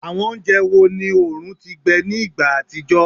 Awọn ounjẹ wo ni oorun ti gbẹ ni igba atijọ?